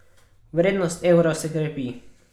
Vrednost evra se krepi.